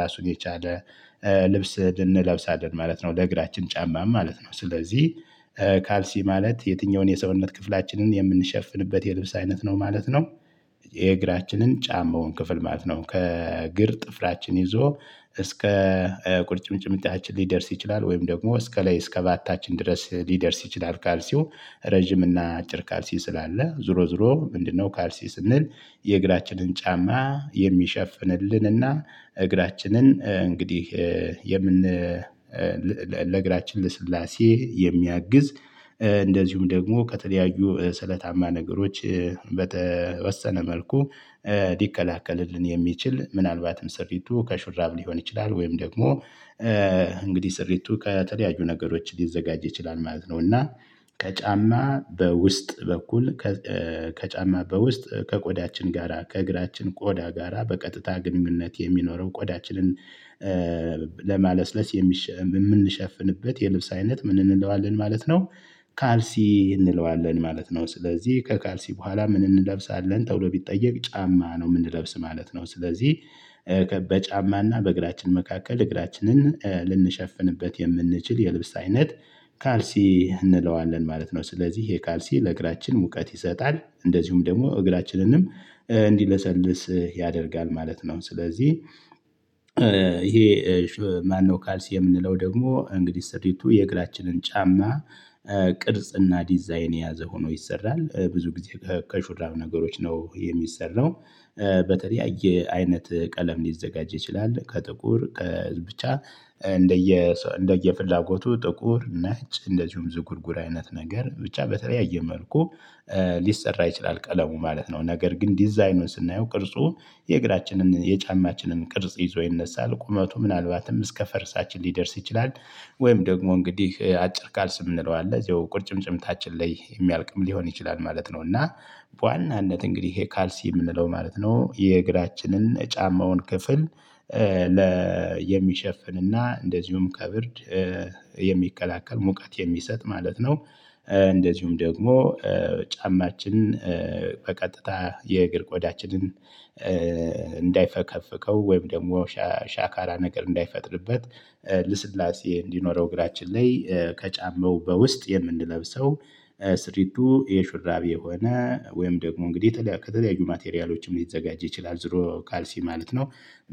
ራሱን የቻለ ልብስ እንለብሳለን ማለት ነው፤ ለእግራችን ጫማም ማለት ነው። ስለዚህ ካልሲ ማለት የትኛውን የሰውነት ክፍላችንን የምንሸፍንበት የልብስ አይነት ነው ማለት ነው የእግራችንን ጫማውን ክፍል ማለት ነው። ከእግር ጥፍራችን ይዞ እስከ ቁርጭምጭሚታችን ሊደርስ ይችላል፤ ወይም ደግሞ እስከ ላይ እስከ ባታችን ድረስ ሊደርስ ይችላል ካልሲው ረጅም እና አጭር ካልሲ ስላለ ዞሮ ዞሮ ምንድነው ካልሲ ስንል የእግራችንን ጫማ የሚሸፍንልንና እግራችንን እንግዲህ የምን ለእግራችን ልስላሴ የሚያግዝ እንደዚሁም ደግሞ ከተለያዩ ስለታማ ነገሮች በተወሰነ መልኩ ሊከላከልልን የሚችል ምናልባትም ሰሪቱ ከሹራብ ሊሆን ይችላል ወይም ደግሞ እንግዲህ ስሪቱ ከተለያዩ ነገሮች ሊዘጋጅ ይችላል ማለት ነው፤ እና ከጫማ በውስጥ በኩል ከ ከጫማ በውስጥ ከቆዳችን ጋራ ከእግራችን ቆዳ ጋራ በቀጥታ ግንኙነት የሚኖረው ቆዳችንን ለማለስለስ የሚሸ የምንሸፍንበት የልብስ አይነት ምን እንለዋለን ማለት ነው ካልሲ እንለዋለን ማለት ነው። ስለዚህ "ከካልሲ በኋላ ምን እንለብሳለን?" ተብሎ ቢጠየቅ ጫማ ነው ምንለብስ ማለት ነው። ስለዚህ በጫማና በእግራችን መካከል እግራችንን ልንሸፍንበት የምንችል የልብስ አይነት ካልሲ እንለዋለን ማለት ነው። ስለዚህ ይሄ ካልሲ ለእግራችን ሙቀት ይሰጣል፤ እንደዚሁም ደግሞ እግራችንንም እንዲለሰልስ ያደርጋል ማለት ነው። ስለዚህ ይሄ ማነው ካልሲ የምንለው ደግሞ እንግዲህ ስሪቱ የእግራችንን ጫማ ቅርጽና ዲዛይን የያዘ ሆኖ ይሰራል። ብዙ ጊዜ ከሹራብ ነገሮች ነው የሚሰራው። በተለያየ አይነት ቀለም ሊዘጋጅ ይችላል። ከጥቁር ከ ብቻ እንደየሰ እንደየፍላጎቱ ጥቁር፣ ነጭ እንደዚሁም ዝጉርጉር አይነት ነገር ብቻ በተለያየ መልኩ ሊሰራ ይችላል ቀለሙ ማለት ነው፤ ነገር ግን ዲዛይኑን ስናየው ቅርጹ የእግራችንን የጫማችንን ቅርጽ ይዞ ይነሳል ቁመቱ ምናልባትም እስከ ፈርሳችን ሊደርስ ይችላል። ወይም ደግሞ እንግዲህ አጭር ካልሲ ምንለው አለ እዚያው ቁርጭምጭሚታችን ላይ የሚያልቅም ሊሆን ይችላል ማለት ነው፤ እና በዋናነት እንግዲህ ይሄ ካልሲ የምንለው ማለት ነው የእግራችንን ጫማውን ክፍል ለ የሚሸፍንና እንደዚሁም ከብርድ የሚከላከል ሙቀት የሚሰጥ ማለት ነው። እንደዚሁም ደግሞ ጫማችን በቀጥታ የእግር ቆዳችንን እንዳይፈከፍከው ወይም ደግሞ ሻ ሻካራ ነገር እንዳይፈጥርበት ልስላሴ እንዲኖረው እግራችን ላይ ከጫማው በውስጥ የምንለብሰው ስሪቱ የሹራብ የሆነ ወይም ደግሞ እንግዲህ የተ ከተለያዩ ማቴሪያሎችም ሊዘጋጅ ይችላል ዙሮ ካልሲ ማለት ነው።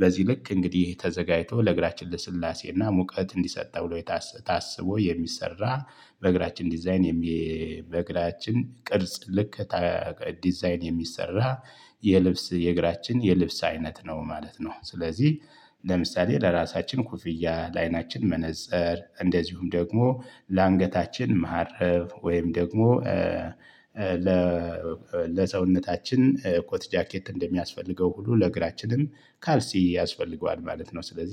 በዚህ ልክ እንግዲህ ተዘጋጅቶ ለእግራችን ልስላሴና ሙቀት እንዲሰጥ ብሎ ታስቦ የሚሰራ በእግራችን ዲዛይን የሚ በእግራችን ቅርጽ ልክ ተጀ ዲዛይን የሚሰራ የልብስ የእግራችን የልብስ አይነት ነው ማለት ነው። ስለዚህ ለምሳሌ ለራሳችን ኮፍያ፣ ለአይናችን መነፀር እንደዚሁም ደግሞ ለአንገታችን መሃረብ ወይም ደግሞ ለ ለሰውነታችን ኮት ጃኬት እንደሚያስፈልገው ሁሉ ለእግራችንም ካልሲ ያስፈልገዋል ማለት ነው። ስለዚህ